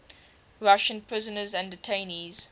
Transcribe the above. russian prisoners and detainees